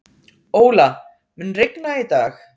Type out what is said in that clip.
Óla, mun rigna í dag?